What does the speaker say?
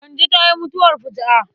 Kande ta yi mutuwar fuju'a.